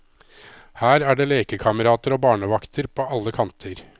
Her er det lekekamerater og barnevakter på alle kanter.